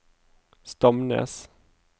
Stamnes